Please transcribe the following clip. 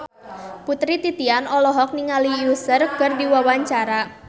Putri Titian olohok ningali Usher keur diwawancara